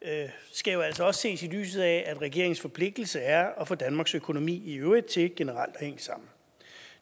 skal jo altså også ses i lyset af at regeringens forpligtelse er at få danmarks økonomi i øvrigt til generelt at hænge sammen